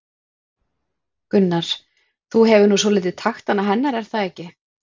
Gunnar: Þú hefur nú svolítið taktana hennar er það ekki?